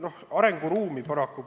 Noh, arenguruumi paraku on.